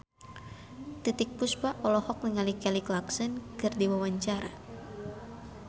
Titiek Puspa olohok ningali Kelly Clarkson keur diwawancara